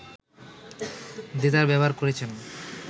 দেদার ব্যবহার করেছেন